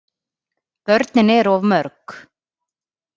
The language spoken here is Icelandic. Börnin eru of mörg.